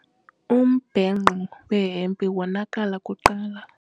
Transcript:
Umbhenqo wehempe wonakala kuqala.